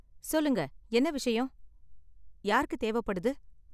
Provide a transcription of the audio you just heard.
சொல்லுங்க, என்ன விஷயம்? யாருக்கு தேவைப்படுது?